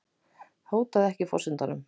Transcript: Hótaði ekki forsetanum